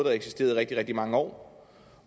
har eksisteret i rigtig rigtig mange år